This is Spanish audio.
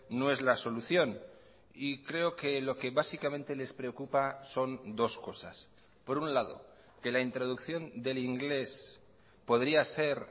no es la solución y creo que lo que básicamente les preocupa son dos cosas por un lado que la introducción del inglés podría ser